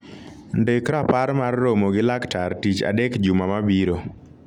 ndik rapar mar romo gi laktar tich adek juma mabiro